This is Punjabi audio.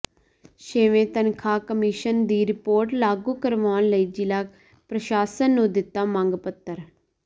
ਛੇਵੇਂ ਤਨਖ਼ਾਹ ਕਮਿਸ਼ਨ ਦੀ ਰਿਪੋਰਟ ਲਾਗੂ ਕਰਵਾਉਣ ਲਈ ਜ਼ਿਲ੍ਹਾ ਪ੍ਰਸ਼ਾਸਨ ਨੂੰ ਦਿੱਤਾ ਮੰਗ ਪੱਤਰ